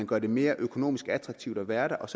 gør det mere økonomisk attraktivt at være der og